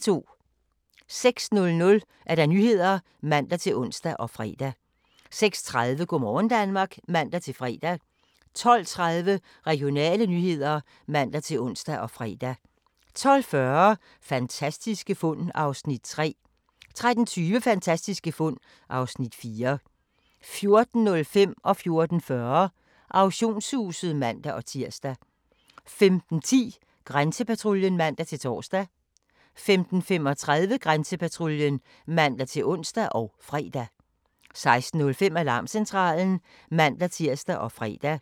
06:00: Nyhederne (man-ons og fre) 06:30: Go' morgen Danmark (man-fre) 12:30: Regionale nyheder (man-ons og fre) 12:40: Fantastiske fund (Afs. 3) 13:20: Fantastiske fund (Afs. 4) 14:05: Auktionshuset (man-tir) 14:40: Auktionshuset (man-tir) 15:10: Grænsepatruljen (man-tor) 15:35: Grænsepatruljen (man-ons og fre) 16:05: Alarmcentralen (man-tir og fre)